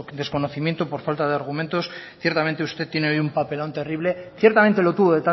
desconocimiento o por falta de argumentos ciertamente hoy usted tiene un papelón terrible ciertamente lo tuvo